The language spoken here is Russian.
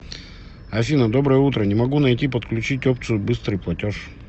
афина доброе утро не могу найти подключить опцию быстрый платеж